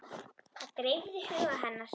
Það dreifði huga hennar.